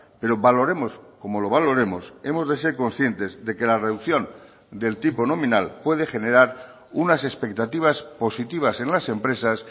pero valoremos como lo valoremos hemos de ser conscientes de que la reducción del tipo nominal puede generar unas expectativas positivas en las empresas